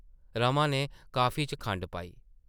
रमा नै कॉफी च खंड पाई ।